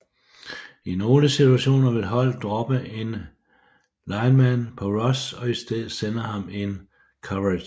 I nogle situationer vil holdet droppe en lineman på rush og i stedet sende ham i coverage